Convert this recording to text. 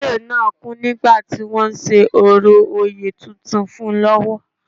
Olóyè náà kú nígbà tí wọ́n ń ṣe orò oyè tuntun fún un lọ́wọ́